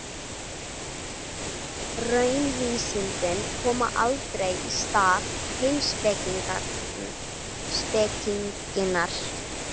Raunvísindin koma aldrei í stað heimspekinnar.